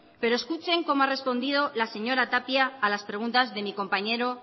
pero escuchen cómo ha respondido la señora tapia a las preguntas de mi compañero